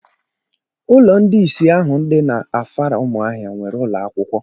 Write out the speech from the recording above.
Ụlọ ndị isi ahụ dị n'Afara Ụmụahịa nwere ụlọakwụkwọ